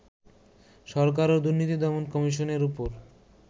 সরকার ও দুর্নীতি দমন কমিশনের উপর